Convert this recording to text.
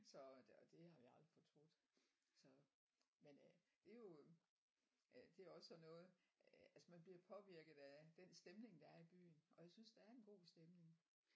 Så og det har jeg aldrig troet så men øh det er jo øh det er også sådan noget øh altså man bliver jo påvirket af den stemning der er i byen og jeg synes der er en god stemning